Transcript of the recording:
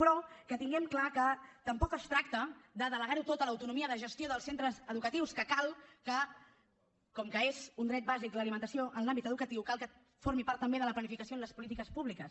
però tinguem clar que tampoc es tracta de delegar ho tot a l’autonomia de gestió dels centres educatius perquè cal que com que és un dret bàsic l’alimentació en l’àmbit educatiu formi part també de la planificació en les polítiques públiques